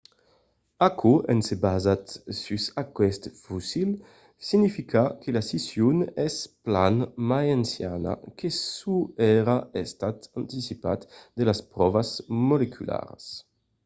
aquò en se basant sus aqueste fossil significa que la scission es plan mai anciana que çò qu'èra estat anticipat de las pròvas molecularas